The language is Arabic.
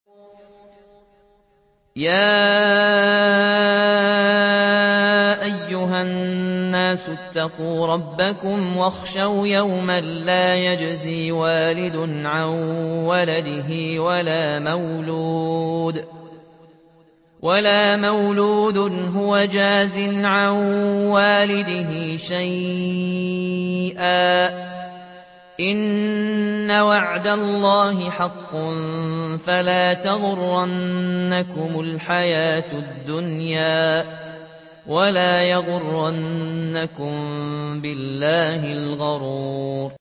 يَا أَيُّهَا النَّاسُ اتَّقُوا رَبَّكُمْ وَاخْشَوْا يَوْمًا لَّا يَجْزِي وَالِدٌ عَن وَلَدِهِ وَلَا مَوْلُودٌ هُوَ جَازٍ عَن وَالِدِهِ شَيْئًا ۚ إِنَّ وَعْدَ اللَّهِ حَقٌّ ۖ فَلَا تَغُرَّنَّكُمُ الْحَيَاةُ الدُّنْيَا وَلَا يَغُرَّنَّكُم بِاللَّهِ الْغَرُورُ